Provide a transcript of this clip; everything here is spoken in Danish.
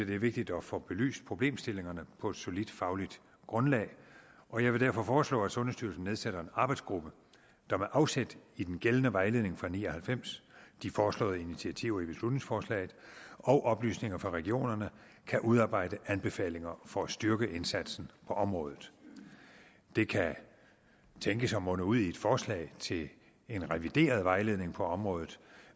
det er vigtigt at få belyst problemstillingerne på et solidt fagligt grundlag og jeg vil derfor foreslå at sundhedsstyrelsen nedsætter en arbejdsgruppe der med afsæt i den gældende vejledning fra nitten ni og halvfems de foreslåede initiativer i beslutningsforslaget og oplysninger fra regionerne kan udarbejde anbefalinger for at styrke indsatsen på området det kan tænkes at munde ud i et forslag til en revideret vejledning på området